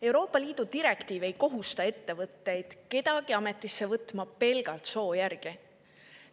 Euroopa Liidu direktiiv ei kohusta ettevõtteid kedagi ametisse võtma pelgalt soo järgi.